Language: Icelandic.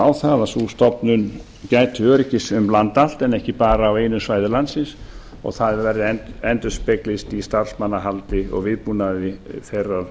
á það að sú stofnun gæti öryggis um land allt en ekki bara á einu svæði landsins og það endurspeglist í starfsmannahaldi og viðbúnaði þeirrar